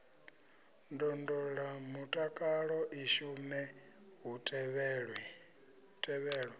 ndondolamutakalo i shume hu tevhelwa